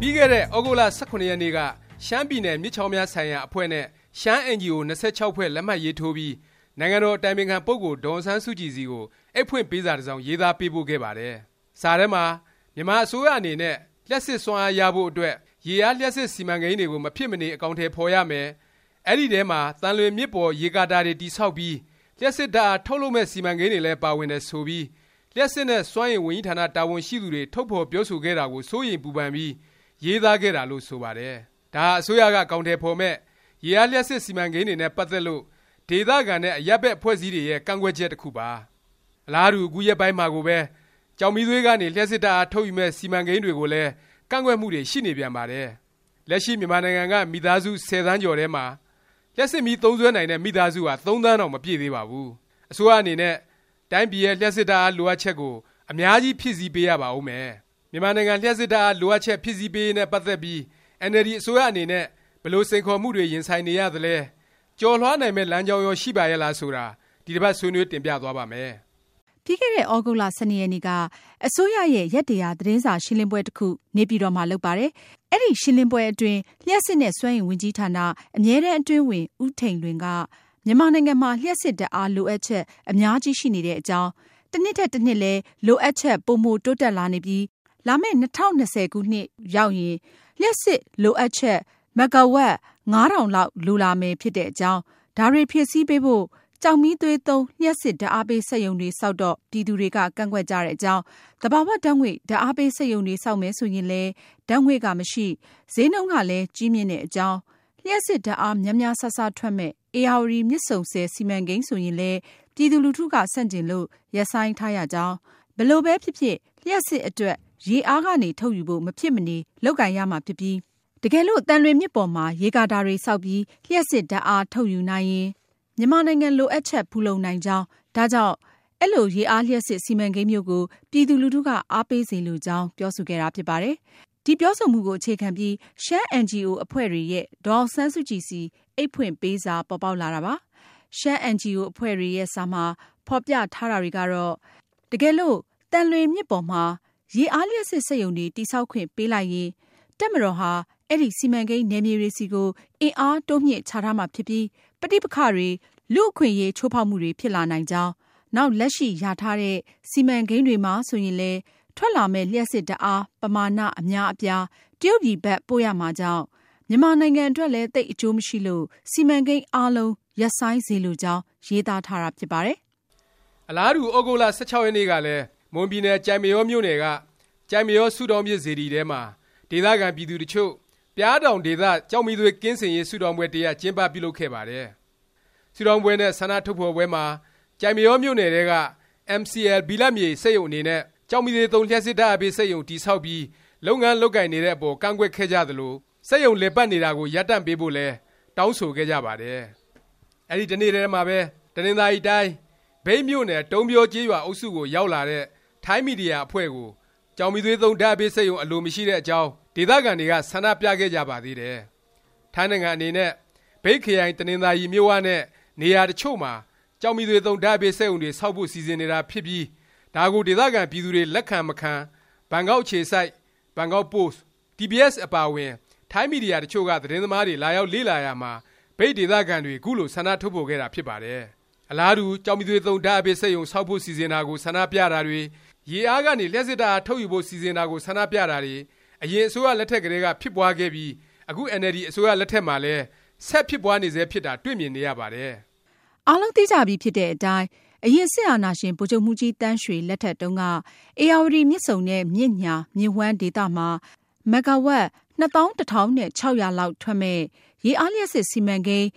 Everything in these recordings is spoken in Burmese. ပြီးခဲ့တဲ့ သြဂုတ်လ ၁၇ ရက်နေ့က ရှမ်းပြည်နယ်မြစ်ချောင်းများ ဆိုင်ရာ အဖွဲ့နဲ့ ရှမ်းအင်န်ဂျီအို အဖွဲ့ ၂၆ ဖွဲ့ လက်မှတ်ရေးထိုးပြီး နိုင်ငံတော် အတိုင်ပင်ခံ ပုဂ္ဂိုလ် ဒေါ်အောင်ဆန်းစုကြည် ဆီကို အိပ်ဖွင့်ပေးစာ တစ်စောင် ရေးသားပေးပို့ခဲ့ပါတယ်။ စာထဲမှာ မြန်မာအစိုးရအနေနဲ့ လျှပ်စစ်စွမ်းအား ရဖို့အတွက် ရေအားလျှပ်စစ် စီမံကိန်းတွေကို မဖြစ်မနေ အကောင်အထည် ဖော်ရမယ်၊ အဲဒီ အထဲမှာ သံလွင်မြစ်ပေါ် ရေကာတာတွေ တည်ဆောက်ပြီး လျှပ်စစ်ဓာတ်အား ထုတ်လုပ်မယ့် စီမံကိန်းတွေလည်း ပါဝင်တယ် ဆိုပြီး လျှပ်စစ်နဲ့ စွမ်းအင် ဝန်ကြီးဌာန တာဝန်ရှိသူတွေ ထုတ်ဖော်ပြောဆိုခဲ့တာကို စိုးရိမ်ပူပန်ပြီး ရေးသားခဲ့တာလို့ ဆိုပါတယ်။ ဒါဟာ အစိုးရက အကောင်အထည် ဖော်မယ့် ရေအားလျှပ်စစ် စီမံကိန်းတွေနဲ့ ပတ်သက်လို့ ဒေသခံနဲ့ အရပ်ဘက် အဖွဲ့အစည်းတွေရဲ့ ကန့်ကွက်ချက် တစ်ခုပါ။ အလားတူ အခုရက်ပိုင်းမှာကိုပဲ ကျောက်မီးသွေးကနေ လျှပ်စစ်ဓာတ်အား ထုတ်ယူမယ့် စီမံကိန်းတွေကိုလည်း ကန့်ကွက်မှုတွေ ရှိနေပြန်ပါတယ်။ လက်ရှိ မြန်မာနိုင်ငံက မိသားစု ၁၀ သန်းကျော်ထဲမှာ လျှပ်စစ်မီး သုံးစွဲနိုင်တဲ့ မိသားစုဟာ ၃ သန်းတောင် မပြည့်သေးပါဘူး။ အစိုးရအနေနဲ့ တိုင်းပြည်ရဲ့ လျှပ်စစ်ဓာတ်အား လိုအပ်ချက်ကို အများကြီး ဖြည့်ဆည်းပေးရပါဦးမယ်။ မြန်မာနိုင်ငံ လျှပ်စစ်ဓာတ်အား လိုအပ်ချက် ဖြည့်ဆည်းပေးရေးနဲ့ ပတ်သက်ပြီး အင်န်အယ်လ်ဒီ အစိုးရ အနေနဲ့ ဘယ်လို စိန်ခေါ်မှုတွေ ရင်ဆိုင်နေရသလဲ၊ ကျော်လွှားနိုင်မယ့် လမ်းကြောင်းရော ရှိပါရဲ့လား ဆိုတာ ဒီတစ်ပတ် ဆွေးနွေး တင်ပြသွားပါ့မယ်။ ပြီးခဲ့တဲ့ သြဂုတ်လ ၁၂ ရက်နေ့က အစိုးရရဲ့ ရက်၁၀၀ သတင်းစာရှင်းလင်းပွဲတစ်ခု နေပြည်တော်မှာ လုပ်ပါတယ်။ အဲဒီ ရှင်းလင်းပွဲအတွင်း လျှပ်စစ်နဲ့ စွမ်းအင် ဝန်ကြီးဌာန အမြဲတန်း အတွင်းဝန် ဦးထိန်လွင်က မြန်မာနိုင်ငံမှာ လျှပ်စစ်ဓာတ်အား လိုအပ်ချက် အများကြီး ရှိနေတဲ့အကြောင်း၊ တစ်နှစ်ထက် တစ်နှစ်လဲ လိုအပ်ချက် ပိုမို တိုးတက်လာနေပြီး လာမယ့် ၂၀၂၀ လောက်ရောက်ရင် လျှပ်စစ်လိုအပ်ချက် မဂ္ဂါဝပ် ၅၀၀၀ လောက် လိုလာမယ် ဖြစ်တဲ့အကြောင်း၊ ဒါတွေဖြည့်ဆည်းပေးဖို့ ကျောက်မီးသွေးသုံး လျှပ်စစ်ဓာတ်အားပေး စက်ရုံတွေ ဆောက်တော့ ပြည်သူတွေက ကန့်ကွက်ကြတဲ့ အကြောင်း၊ သဘာ၀ ဓာတ်ငွေ့ ဓာတ်အားပေး စက်ရုံတွေ ဆောက်မယ် ဆိုရင်လည်း ဓာတ်ငွေ့က မရှိ၊ ဈေးနှုန်းကလည်း ကြီးမြင့်တဲ့အကြောင်း၊ လျှပ်စစ်ဓာတ်အား များများစားစား ထွက်မယ့် ဧရာဝတီ မြစ်ဆုံဆည် စီမံကိန်း ဆိုရင်လည်း ပြည်သူလူထုက ဆန့်ကျင်လို့ ရပ်ဆိုင်းထားရကြောင်း၊ ဘယ်လိုပဲဖြစ်ဖြစ် လျှပ်စစ်အတွက် ရေအားကနေ ထုတ်ယူဖို့ မဖြစ်မနေ လုပ်ကိုင်ရမှာဖြစ်ပြီး တကယ်လို့ သံလွင်မြစ်ပေါ်မှာ ရေကာတာတွေ ဆောက်ပြီး လျှပ်စစ်ဓာတ်အား ထုတ်ယူနိုင်ရင် မြန်မာနိုင်ငံ လိုအပ်ချက် ဖူလုံနိုင်ကြောင်း၊ ဒါကြောင့် အဲလို ရေအားလျှပ်စစ် စီမံကိန်းမျိုးကို ပြည်သူလူထုက အားပေးစေလိုကြောင်း ပြောဆိုခဲ့တာ ဖြစ်ပါတယ်။ ဒီ ပြောဆိုမှုကို အခြေခံပြီး ရှမ်း အင်န်ဂျီအို အဖွဲ့တွေရဲ့ ဒေါ်အောင်ဆန်းစုကြည်ဆီ အိပ်ဖွင့်ပေးစာ ပေါ်ပေါက်လာတာပါ။ ရှမ်းအင်န်ဂျီအို အဖွဲ့တွေရဲ့ စာမှာ ဖော်ပြထားတာတွေကတော့ တကယ်လို့ သံလွင်မြစ်ပေါ်မှာ ရေအားလျှပ်စစ် စက်ရုံတွေ တည်ဆောက်ခွင့် ပေးလိုက်ရင် တပ်မတော်ဟာ အဲဒီ စီမံကိန်း နယ်မြေတွေဆီကို အင်အားတိုးမြှင့်ချထားမှာဖြစ်ပြီး ပဋိပက္ခတွေ၊ လူ့အခွင့်အရေး ချိုးဖေါက်မှုတွေ ဖြစ်လာနိုင်ကြောင်း၊ နောက် လက်ရှိ လျာထားတဲ့ စီမံကိန်းတွေမှာဆိုရင်လည်း ထွက်လာမယ့် လျှပ်စစ်ဓာတ်အား ပမာဏ အများအပြား တရုတ်ပြည်ဘက် ပို့ရမှာကြောင့် မြန်မာနိုင်ငံအတွက်လည်း သိပ် အကျိုးမရှိလို့ စီမံကိန်းအားလုံး ရပ်ဆိုင်းစေလိုကြောင်း ရေးသားထားတာ ဖြစ်ပါတယ်။ အလားတူ သြဂုတ်လ ၁၆ ရက်နေ့ကလည်း မွန်ပြည်နယ် ကျိုက်မရောမြို့နယ်က ကျိုက်မရော ဆုတောင်းပြည့် စေတီထဲမှာ ဒေသခံ ပြည်သူတစ်ချို့ ပျားတောင်ဒေသ ကျောက်မီးသွေး ကင်းစင်ရေး ဆုတောင်းပွဲ တစ်ရပ် ကျင်းပပြုလုပ်ခဲ့ပါတယ်။ ဆုတောင်းပွဲနဲ့ ဆန္ဒထုတ်ဖော်ပွဲမှာ ကျိုက်မရောမြို့နယ် ထဲက MCL ဘိလပ်မြေ စက်ရုံအနေနဲ့ ကျောက်မီးသွေးသုံး လျှပ်စစ်ဓာတ်အားပေး စက်ရုံ တည်ဆောက်ပြီး လုပ်ငန်း လုပ်ကိုင်နေတဲ့အပေါ် ကန့်ကွက်ခဲ့ကြသလို၊ စက်ရုံ လည်ပတ်နေတာကို ရပ်တန့်ပေးဖို့လည်း တောင်းဆိုခဲ့ကြပါတယ်။ အဲဒီတစ်နေ့ထဲမှာပဲ တနင်္သာရီတိုင်း မြိတ်မြို့နယ် တုံးဗျောကျေးရွာ အုပ်စုကိုရောက်လာတဲ့ ထိုင်းမီဒီယာ အဖွဲ့ကို ကျောက်မီးသွေးသုံး ဓာတ်အားပေးစက်ရုံ အလိုမရှိတဲ့အကြောင်း ဒေသခံတွေက ဆန္ဒပြခဲ့ကြပါသေးတယ်။ ထိုင်းနိုင်ငံ အနေနဲ့ မြိတ်ခရိုင် တနင်္သာရီ မြစ်၀ နဲ့ နေရာ တစ်ချို့မှာ ကျောက်မီးသွေးသုံး ဓာတ်အားပေးစက်ရုံတွေ ဆောက်ဖို့ စီစဉ်နေတာဖြစ်ပြီး ဒါကို ဒေသခံ ပြည်သူတွေ လက်ခံ၊ မခံ ဘန်ကောက် အခြေစိုက် ဘန်ကောက်ပို့စ်၊ TBS အပါအဝင် ထိုင်းမီဒီယာ တစ်ချို့က သတင်းသမားတွေ လာရောက်လေ့လာရာမှာ မြိတ် ဒေသခံတွေ ခုလို ဆန္ဒ ထုတ်ဖော်ခဲ့တာ ဖြစ်ပါတယ်။ အလားတူ ကျောက်မီးသွေးသုံး ဓာတ်အားပေး စက်ရုံ ဆောက်ဖို့ စီစဉ်တာကို ဆန္ဒပြတာတွေ၊ ရေအားကနေ လျှပ်စစ်ဓာတ်အား ထုတ်ယူဖို့ စီစဉ်တာကို ဆန္ဒပြတာတွေ အရင်အစိုးရ လက်ထက်ကတည်းက ဖြစ်ပွားခဲ့ပြီး အခု အင်န်အယ်လ်ဒီ အစိုးရ လက်ထက်မှာလည်း ဆက်ဖြစ်ပွားနေဆဲ ဖြစ်တာ တွေ့မြင်နေရပါတယ်။ အားလုံးသိကြပြီဖြစ်တဲ့အတိုင်း အရင် စစ်အာဏာရှင် ဗိုလ်ချုပ်မှူးကြီးသန်းရွှေ လက်ထက်တုန်းက ဧရာဝတီ မြစ်ဆုံနဲ့ မြစ်ညှာမြစ်ဝှမ်းဒေသမှာ မဂ္ဂါဝပ် ၂၁၆၀၀ လောက်ထွက်မယ့် ရေအားလျှပ်စစ် စီမံကိန်း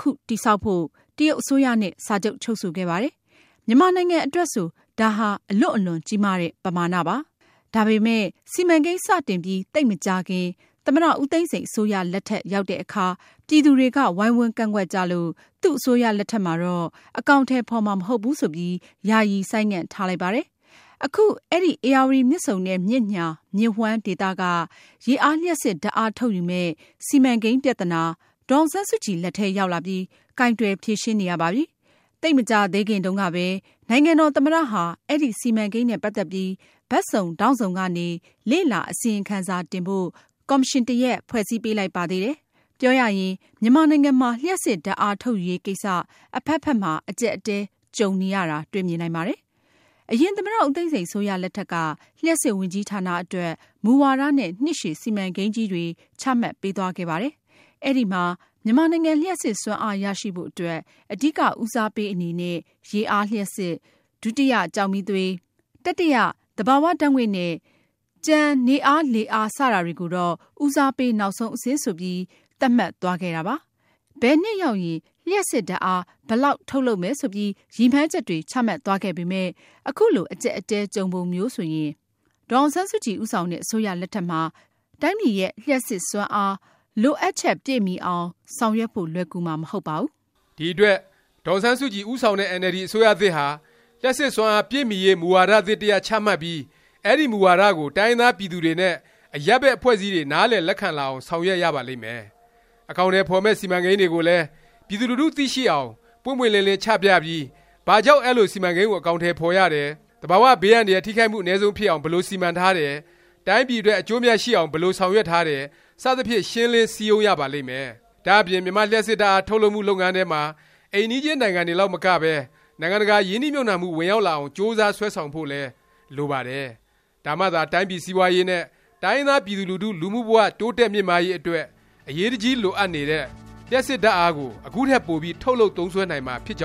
ခု တည်ဆောက်ဖို့ တရုတ်အစိုးရနဲ့ စာချုပ်ချုပ်ဆိုခဲ့ပါတယ်။ မြန်မာနိုင်ငံ အတွက်ဆို ဒါဟာ အလွန့်အလွန်ကြီးမားတဲ့ ပမာဏပါ။ ဒါပေမယ့် စီမံကိန်း စတင်ပြီး သိပ်မကြာခင် သမ္မတ ဦးသိန်းစိန် အစိုးရ လက်ထက်ရောက်တဲ့အခါ ပြည်သူတွေက ဝိုင်းဝန်းကန့်ကွက်ကြလို့ သူ့အစိုးရလက်ထက်မှာတော့ အကောင်အထည် ဖော်မှာ မဟုတ်ဘူး ဆိုပြီး ယာယီ ဆိုင်းငံ့ထားလိုက်ပါတယ်။ အခု အဲဒီ ဧရာဝတီ မြစ်ဆုံနဲ့ မြစ်ညှာမြစ်ဝှမ်းဒေသက ရေအားလျှပ်စစ် ဓာတ်အား ထုတ်ယူမယ့် စီမံကိန်းပြသနာ ဒေါ်အောင်ဆန်းစုကြည် လက်ထဲရောက်လာပြီး ကိုင်တွယ်ဖြေရှင်းနေရပါပြီ။ သိပ်မကြာသေးခင်တုန်းကပဲ နိုင်ငံတော် သမ္မတ ဟာ အဲဒီ စီမံကိန်းနဲ့ ပတ်သက်ပြီး ဘက်စုံဒေါင့်စုံကနေ လေ့လာအစီရင်ခံစာ တင်ဖို့ ကော်မရှင်တစ်ရပ် ဖွဲ့စည်းပေးလိုက်ပါသေးတယ်။ ပြောရရင် မြန်မာနိုင်ငံမှာ လျှပ်စစ်ဓာတ်အား ထုတ်ယူရေးကိစ္စ အဖက်ဖက်မှာ အကြပ်အတည်းကြုံနေရတာ တွေ့မြင်နိုင်ပါတယ်။ အရင် သမ္မတ ဦးသိန်းစိန် အစိုးရလက်ထက်က လျှပ်စစ်ဝန်ကြီးဌာန အတွက် မူဝါဒနဲ့ နှစ်ရှည် စီမံကိန်းကြီးတွေ ချမှတ်ပေးသွားခဲ့ပါတယ်။ အဲဒီမှာ မြန်မာနိုင်ငံ လျှပ်စစ်စွမ်းအား ရရှိဖို့ အတွက် အဓိက ဦးစားပေး အနေနဲ့ ရေအားလျှပ်စစ်၊ ဒုတိယ ကျောက်မီးသွေး၊ တတိယ သဘာ၀ ဓာတ်ငွေ့နဲ့ ကျန် နေအား၊ လေအား စတာတွေကိုတော့ ဦးစားပေး နောက်ဆုံး အဆင့်ဆိုပြီး သတ်မှတ်သွားခဲ့တာပါ။ ဘယ်နှစ်ရောက်ရင် လျှပ်စစ်ဓာတ်အား ဘယ်လောက် ထုတ်လုပ်မယ် ဆိုပြီး ရည်မှန်းချက်တွေ ချမှတ်သွားခဲ့ပေမယ့် အခုလို အကြပ်အတည်း ကြုံပုံမျိုးဆိုရင် ဒေါ်အောင်ဆန်းစုကြည် ဦးဆောင်တဲ့ အစိုးရလက်ထက်မှာ တိုင်းပြည်ရဲ့ လျှပ်စစ်စွမ်းအား လိုအပ်ချက် ပြည့်မီအောင် ဆောင်ရွက်ဖို့ လွယ်ကူမှာ မဟုတ်ပါဘူး။ ဒီအတွက် ဒေါ်အောင်ဆန်းစုကြည် ဦးဆောင်တဲ့ အင်န်အယ်လ်ဒီ အစိုးရသစ်ဟာ လျှပ်စစ်စွမ်းအား ပြည့်မီရေး မူဝါဒသစ် တစ်ရပ် ချမှတ်ပြီး၊ အဲဒီ မူဝါဒကို တိုင်းရင်းသား ပြည်သူတွေနဲ့ အရပ်ဘက် အဖွဲ့အစည်းတွေ နားလည် လက်ခံလာအောင် ဆောင်ရွက်ရပါလိမ့်မယ်။ အကောင်အထည် ဖော်မယ့် စီမံကိန်းတွေကိုလည်း ပြည်သူလူထု သိရှိအောင် ပွင့်ပွင့်လင်းလင်း ချပြပြီး ဘာကြောင့် အဲလို စီမံကိန်းကို အကောင်အထည် ဖော်ရတယ်၊ သဘာ၀ ဘေးအန္တရာယ် ထိခိုက်မှု အနည်းဆုံးဖြစ်အောင် ဘယ်လို စီမံထားတယ်၊ တိုင်းပြည်အတွက် အကျိုးအမြတ် ရှိအောင် ဘယ်လို ဆောင်ရွက်ထားတယ် စသဖြင့် ရှင်းလင်းစည်းရုံးရပါလိမ့်မယ်။ ဒါ့အပြင် မြန်မာ့လျှပ်စစ်ဓာတ်အား ထုတ်လုပ်မှု လုပ်ငန်းထဲမှာ အိမ်နီးချင်း နိုင်ငံတွေလောက်မကပဲ နိုင်ငံတကာ ရင်းနှီးမြှုပ်နှံမှု ဝင်ရောက်လာအောင် ကြိုးစားဆွဲဆောင်ဖို့လည်း လိုပါတယ်။ ဒါမှသာ တိုင်းပြည် စီးပွားရေးနဲ့ တိုင်းရင်းသား ပြည်သူလူထု လူမှုဘ၀ တိုးတက်မြင့်မားရေး အတွက် အရေးတကြီး လိုအပ်နေတဲ့ လျှပ်စစ်ဓာတ်အားကို အခုထက် ပိုပြီး ထုတ်လုပ်သုံးစွဲနိုင်မှာ ဖြစ်ပါကြောင